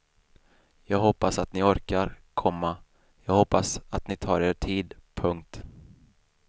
Jag hoppas att ni orkar, komma jag hoppas att ni tar er tid. punkt